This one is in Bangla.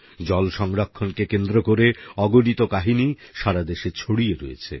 জল সংরক্ষণ কে কেন্দ্র করে অগণিত কাহিনী সারাদেশে ছড়িয়ে রয়েছে